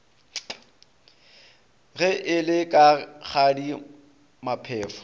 ge e le rakgadi maphefo